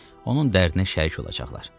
Onun dərdinə şərik olacaqlar.